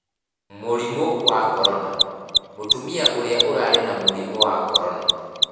Mũrimũ wa Korona: Mũtumia ũrĩa ũrarĩ na mũrimũ wa Korona